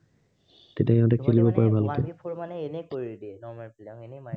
সেইবোৰ মানে এনেই কৰি দিয়ে। normal বিলাক এনেই পায়।